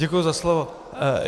Děkuji za slovo.